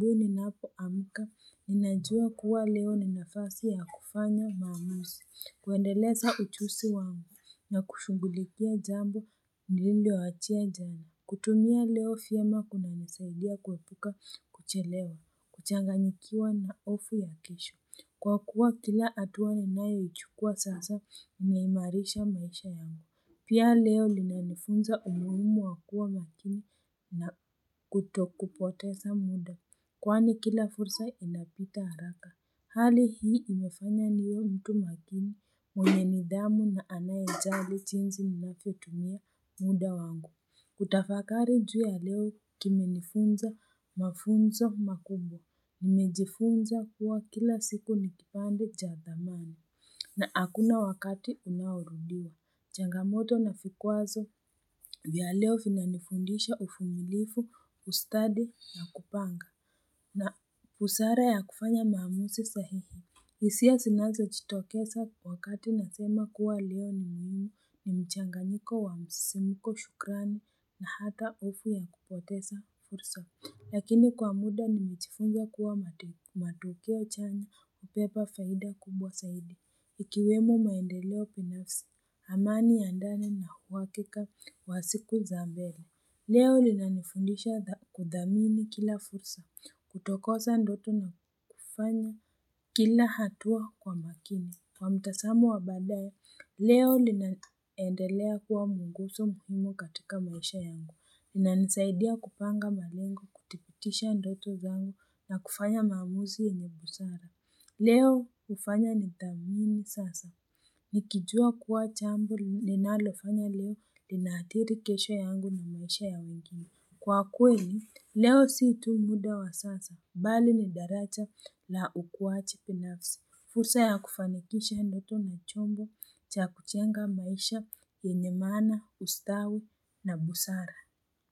Ninapoamka, ninajua kuwa leo ni nafasi ya kufanya maamuzi, kuendeleza ujuzi wangu na kushunghulikia jambo nililoachia jana. Kutumia leo vyema kunanisaidia kuepuka kuchelewa, kuchanganyikiwa na hofu ya kesho. Kwa kuwa kila hatua naniyoichukua sasa imehimarisha maisha yangu. Pia leo linanifunza umuhimu wa kuwa makini na kutokupoteza muda. Kwani kila fursa inapita haraka. Hali hii imefanya niwe mtu makini, mwenye nidhamu na anayejali jinsi nilavyotumia muda wangu. Kutafakari juu ya leo kimenifunza mafunzo makubwa. Nimejifunza kuwa kila siku nikipande cha thamani. Na hakuna wakati unaorudia. Changamoto na vikwazo vya leo vinanifundisha uvumilifu, ustadi na kupanga. Na busara ya kufanya maamuzi sahihi. Hisia zinazojitokeza wakati nasema kuwa leo ni muhimu ni mchanganyiko wa msimiko, shukrani na hata hofu ya kupoteza fursa. Lakini kwa muda nimejifunza kuwa matukio chanya hubeba faida kubwa zaidi. Ikiwemo maendeleo binafsi, amani ya ndani na uhakika wa siku za mbele. Leo inanifundisha kuthamini kila fursa. Kutokosa ndoto na kufanya kila hatua kwa makini. Kwa mtazamo wa badaye, leo inaendelea kuwa munguzo muhimu katika maisha yangu. Linanisaidia kupanga malengo, kutipitisha ndoto zangu na kufanya maamuzi yenye busara. Leo hufanya nithamini sasa. Nikijua kuwa jambo ninalofanya leo linaathiri kesho yangu na maisha ya wengine. Kwa kweli, leo si tu muda wa sasa, bali ni daraja la ukuwaji binafsi. Fursa ya kufanikisha ndoto na chombo cha kujenga maisha yenye maana, ustawi na busara.